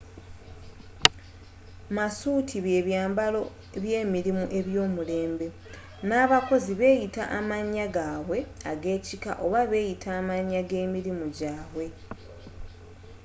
masuuti bye byambalo by'emirimu eby'omulembe n'abakozi beeyita mannya gaabwe ag'ekika oba beyita amannya g'emirimu gyabwe